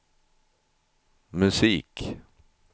musik